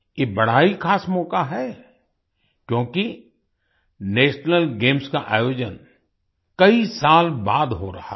ये बड़ा ही ख़ास मौका है क्योंकि नेशनल गेम्स का आयोजन कई साल बाद हो रहा है